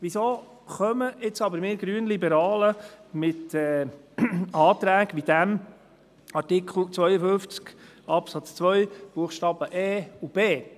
Weshalb kommen wir Grünliberalen jetzt aber mit Anträgen wie demjenigen zu Artikel 52 Absatz 2 Buchstabe e und b?